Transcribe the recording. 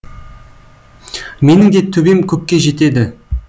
менің де төбем көкке жетеді